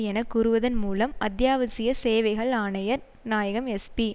என கூறுவதன் மூலம் அத்தியாவசிய சேவைகள் ஆணையாளர் நாயகம் எஸ்பி